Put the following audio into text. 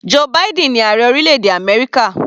Joe Biden ni ààrẹ orílẹ̀-èdè Amẹ́ríkà.